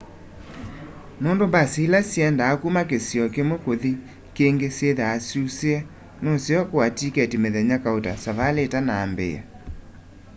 nûndû mbasi îla syiendaa kuma kisio kimwe kuthi kîngî syîthwaa syusîe nuseo kûûa tiketi mithenya kauta savali îtanaambîîa